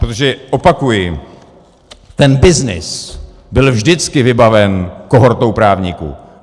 Protože opakuji, ten byznys byl vždycky vybaven kohortou právníků.